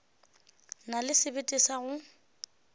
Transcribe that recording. na le sebete sa go